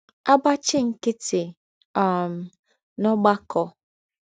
agbachi nkịtị um n’ọgbakọ. ”